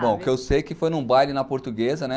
Bom, o que eu sei é que foi num baile na portuguesa, né?